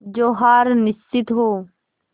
जो हार निश्चित हो